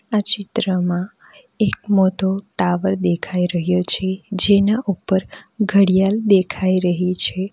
આ ચિત્રમાં એક મોતો ટાવર દેખાઈ રહ્યો છે જેના ઉપર ઘડિયાલ દેખાઈ રહી છે.